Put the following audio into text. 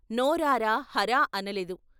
నోరారా " హరా " అనలేదు.